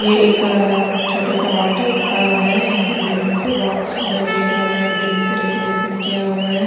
ये एक छोटा सा हॉल टाइप का है यहां पर बैलून से बहुत सुंदर रेड और वाइट बैलून से डेकोरेशन किया हुआ है।